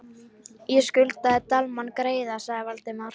. ég skuldaði Dalmann greiða sagði Valdimar.